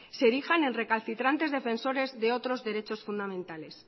se erijan en recalcitrantes defensores de otros derechos fundamentales